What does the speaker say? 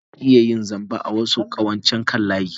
Ana iya yin zamba a wasu ƙawancen kan layi.